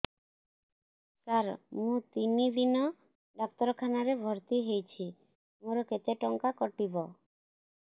ସାର ମୁ ତିନି ଦିନ ଡାକ୍ତରଖାନା ରେ ଭର୍ତି ହେଇଛି ମୋର କେତେ ଟଙ୍କା କଟିବ